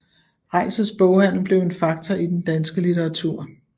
Reitzels boghandel blev en faktor i den danske litteratur